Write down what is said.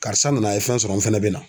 Karisa nana a ye fɛn sɔrɔ n fɛnɛ bɛ na.